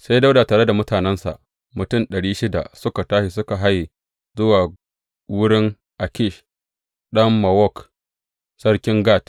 Sai Dawuda tare da mutanensa, mutum ɗari shida suka tashi suka haye zuwa wurin Akish ɗan Mawok, sarkin Gat.